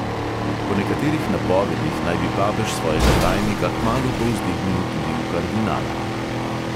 Po nekaterih napovedih naj bi papež svojega tajnika kmalu povzdignil tudi v kardinala.